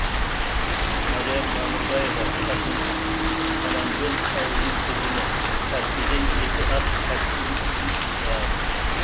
мәриям мамырбаева қасым аманжолов ауылының тұрғыны таксиден екі ақ таксиіміз бар